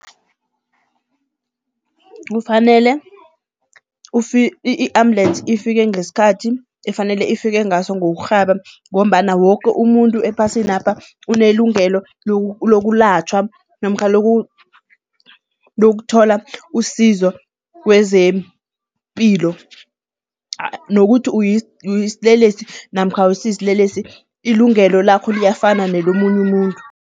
Kufanele i-ambulensi ifike ngesikhathi efanele ifike ngaso ngokurhaba ngombana woke umuntu ephasinapha unelungelo lokulatjhwa namkha lokuthola usizo kwezempilo nokuthi uyisilelesi namkha awusisilelesi ilungelo lakho liyafana nelomunye umuntu.